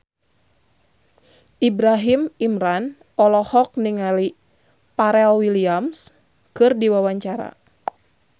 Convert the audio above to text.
Ibrahim Imran olohok ningali Pharrell Williams keur diwawancara